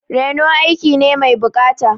Reno aiki ne mai buƙata.